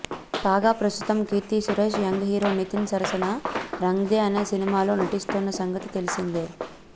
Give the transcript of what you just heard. కాగా ప్రస్తుతం Keerthy Suresh young hero Nitin సరసన రంగ్దే అనే సినిమాలో నటిస్తోన్న సంగతి తెలిసిందే